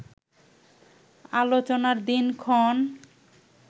আলোচনার দিনক্ষণ